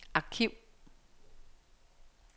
arkiv